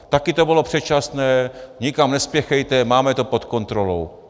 Taky to bylo předčasné, nikam nespěchejte, máme to pod kontrolou.